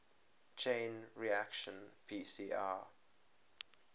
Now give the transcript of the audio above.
chain reaction pcr